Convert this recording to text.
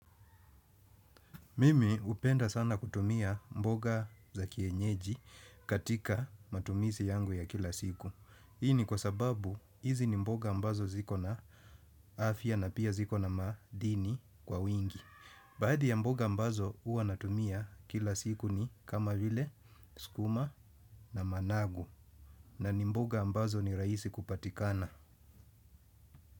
Mimi upenda sana kutumia mboga za kienyeji katika matumisi yangu ya kila siku. Hii ni kwa sababu hizi ni mboga ambazo ziko na afya na pia ziko na madini kwa wingi. Baadhi ya mboga ambazo hua natumia kila siku ni kama vile, sukuma na managu. Na ni mboga ambazo ni raisi kupatikana.